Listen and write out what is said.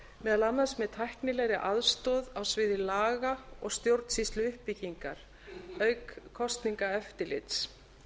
meðal annars með tæknilegri aðstoð á sviði laga og stjórnsýsluuppbyggingar auk kosningaeftirlits